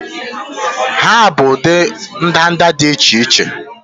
Ha bụ ụdị ndanda dị iche iche